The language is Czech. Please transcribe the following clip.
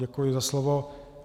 Děkuji za slovo.